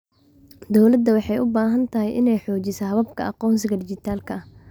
Dawladdu waxay u baahan tahay inay xoojiso hababka aqoonsiga dhijitaalka ah.